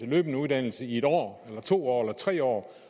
løbende uddannelse i en år eller to år eller tre år